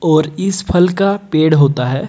और इस फल का पेड़ होता है।